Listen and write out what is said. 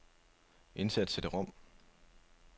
Indsæt cd-rom.